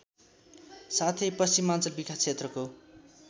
साथै पश्चिमाञ्चल विकासक्षेत्रको